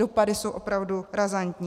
Dopady jsou opravdu razantní.